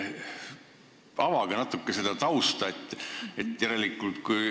Avage natuke seda tausta.